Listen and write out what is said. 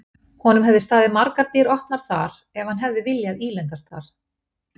Honum hefðu staðið margar dyr opnar þar ef hann hefði viljað ílendast þar.